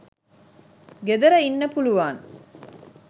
ගෙදර ඉන්න පුළුවන්.